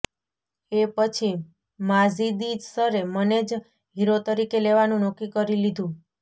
એ પછી માજિદી સરે મને જ હીરો તરીકે લેવાનું નક્કી કરી લીધું